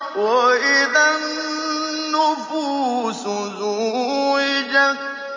وَإِذَا النُّفُوسُ زُوِّجَتْ